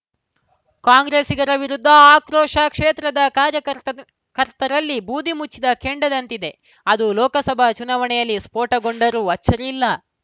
ಕಾಂಗ್ರೆಸ್ಸಿಗರ ವಿರುದ್ಧದ ಆಕ್ರೋಶ ಕ್ಷೇತ್ರದ ಕಾರ್ಯ ಕಾ ಕರ್ತರಲ್ಲಿ ಬೂದಿ ಮುಚ್ಚಿದ ಕೆಂಡದಂತಿದೆ ಅದು ಲೋಕಸಭಾ ಚುನಾವಣೆಯಲ್ಲಿ ಸ್ಫೋಟಗೊಂಡರೂ ಅಚ್ಚರಿಯಿಲ್ಲ